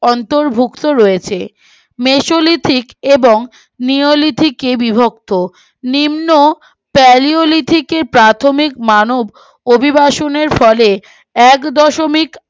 অন্তর্ভুক্ত রয়েছে মেসোলিফিক এবং নিয়োলিফিক এ বিভক্ত নিম্ন ফেলিওলিথিকে প্রাথমিক মানুব অধিবাসনের ফলে এক দশমিক